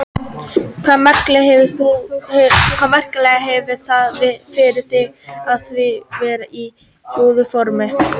Hvaða merkingu hefur það fyrir þig að vera í góðu formi?